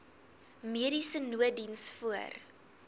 mediese nooddiens voor